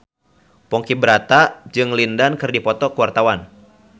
Ponky Brata jeung Lin Dan keur dipoto ku wartawan